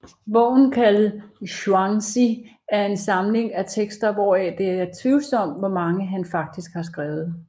Bogen kaldet Zhuangzi er en samling af tekster hvoraf det er tvivlsomt hvor mange han faktisk har skrevet